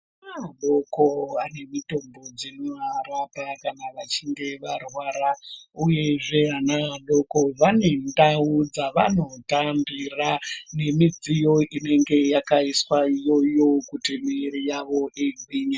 Ana adoko ane mitombo dzino arapa kana vachinge varwara uyezve ana adoko vane ndau dzavano tambira ne midziyo inenge yakaiswa iyoyo kuti muviri yavo igwinye.